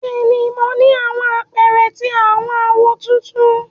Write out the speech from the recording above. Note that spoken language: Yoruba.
Bẹ́ẹ̀ni, mo ni àwọn àpẹrẹ ti awọn áwó tuntun.